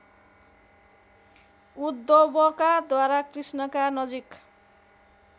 उद्धवकाद्वारा कृष्णका नजिक